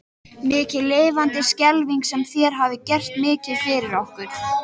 Mikið lifandis skelfing sem þér hafið gert mikið fyrir okkur.